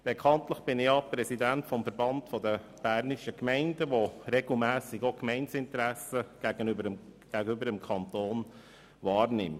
Bekanntlich bin ich Präsident des Verbandes der bernischen Gemeinden (VBG), welcher regelmässig die Gemeindeinteressen gegenüber dem Kanton vertritt.